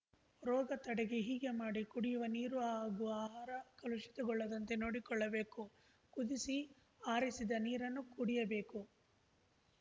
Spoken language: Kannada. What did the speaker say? ರೋಗ ತಡೆಗೆ ಹೀಗೆ ಮಾಡಿ ಕುಡಿಯುವ ನೀರು ಹಾಗೂ ಆಹಾರ ಕಲುಷಿತಗೊಳ್ಳದಂತೆ ನೋಡಿಕೊಳ್ಳಬೇಕು ಕುದಿಸಿ ಆರಿಸಿದ ನೀರನ್ನು ಕುಡಿಯಬೇಕು